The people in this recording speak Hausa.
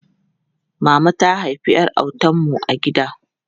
Mama ta haifi ƴar autan mu a gida.